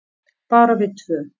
Bara við tvö.